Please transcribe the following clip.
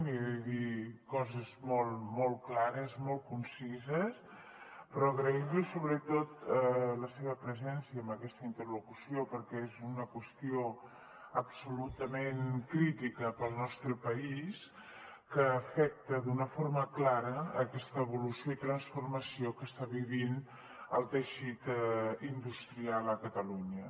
li he de dir coses molt molt clares molt concises però agrair li sobretot la seva presència en aquesta interlocució perquè és una qüestió absolutament crítica per al nostre país que afecta d’una forma clara aquesta evolució i transformació que està vivint el teixit industrial a catalunya